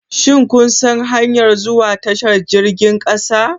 Shin kun san hanyar zuwa tashar jirgin kasa?